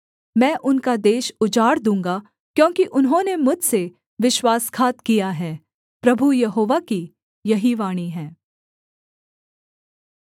मैं उनका देश उजाड़ दूँगा क्योंकि उन्होंने मुझसे विश्वासघात किया है प्रभु यहोवा की यही वाणी है